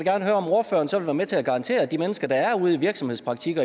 om at virksomhedspraktik i